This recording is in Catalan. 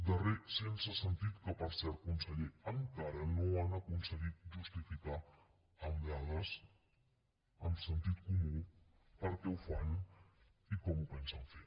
darrer sense sentit que per cert conseller encara no han aconseguit justificar amb dades amb sentit comú per què ho fan i com ho pensen fer